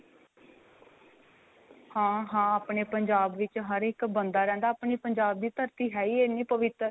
ਹਾਂ ਹਾਂ ਆਪਣੇ ਪੰਜਾਬ ਵਿੱਚ ਹਰੇਕ ਬੰਦਾ ਰਹਿੰਦਾ ਆਪਣੇ ਪੰਜਾਬ ਦੀ ਧਰਤੀ ਹੈ ਹੀ ਇੰਨੀ ਪਵਿੱਤਰ